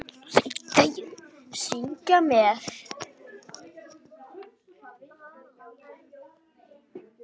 Syngja með!